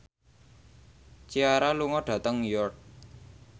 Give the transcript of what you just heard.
Ciara lunga dhateng York